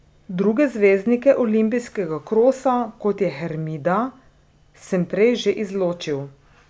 Druge zvezdnike olimpijskega krosa, kot je Hermida, sem prej že izločil.